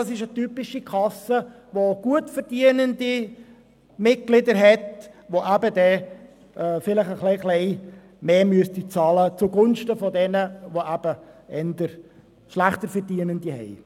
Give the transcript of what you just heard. Das ist eine typische Kasse, welche gutverdienende Mitglieder hat und zugunsten anderer Kassen wahrscheinlich etwas mehr bezahlen müsste.